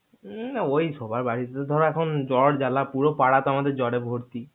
উম সবার বাড়িতে এখন জ্বর জ্বালা পুরো পারা তো আমাদের জ্বরে ভর্তি